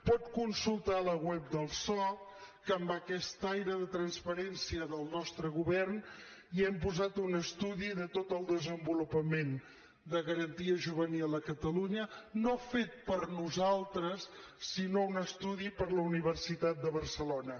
pot consultar la web del soc que amb aquest aire de transparència del nostre govern hi hem posat un estudi de tot el desenvolupament de garantia juvenil a catalunya no fet per nosaltres sinó un estudi per la universitat de barcelona